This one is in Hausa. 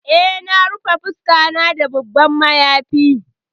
Eh na rufe fuskata da babban mayafi.